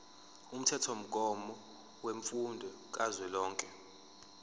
umthethomgomo wemfundo kazwelonke